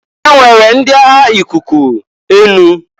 E nwere ndi agha ikuku/enu.